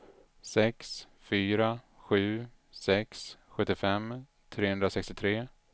sex fyra sju sex sjuttiofem trehundrasextiotre